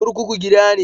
Kurkuku gida ne